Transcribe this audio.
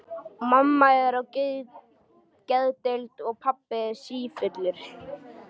Mamma er á geðdeild og pabbi sífullur.